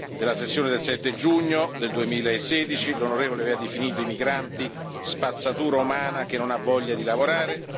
Nella sessione del 7 giugno 2016, l'onorevole aveva definito i migranti spazzatura umana che non ha voglia di lavorare.